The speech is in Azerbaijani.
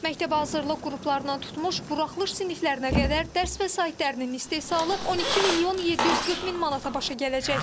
Məktəbəhazırlıq qruplarından tutmuş buraxılış siniflərinə qədər dərs vəsaitlərinin istehsalı 12 milyon 740 min manata başa gələcək.